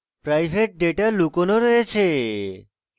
private data লুকানো রয়েছে